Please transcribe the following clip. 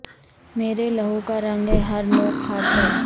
میرے لہو کا رنگ ہے ہر نوک خار پر